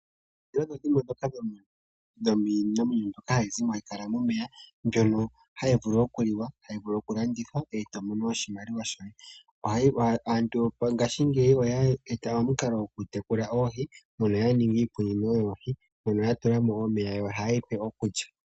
Oohi odho dhimwe dhomiinamwenyo mbyoka hayi kala momeya, mbyono hayi vulu oku liwa, hayi vulu oku landithwa , e to mono oshimaliwa shoye. Aantu ngaashingeyi oye eta omukalo gokutekula oohi, mono ya ninga iikunino yoohi, mono ya tula mo omeya yo ohaye yi pe okulya.